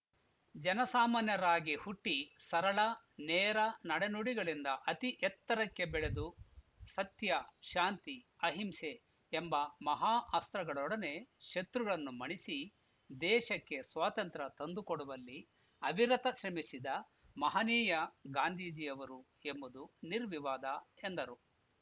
ಜನಸಾಮಾನ್ಯರಾಗಿ ಹುಟ್ಟಿ ಸರಳ ನೇರ ನಡೆನುಡಿಗಳಿಂದ ಅತಿ ಎತ್ತರಕ್ಕೆ ಬೆಳೆದು ಸತ್ಯ ಶಾಂತಿ ಅಹಿಂಸೆ ಎಂಬ ಮಹಾ ಅಸ್ತ್ರಗಳೊಡನೆ ಶತ್ರುಗಳನ್ನು ಮಣಿಸಿ ದೇಶಕ್ಕೆ ಸ್ವಾತಂತ್ರ್ಯ ತಂದುಕೊಡುವಲ್ಲಿ ಅವಿರತ ಶ್ರಮಿಸಿದ ಮಹನೀಯ ಗಾಂಧೀಜಿಯವರು ಎಂಬುದು ನಿರ್ವಿವಾದ ಎಂದರು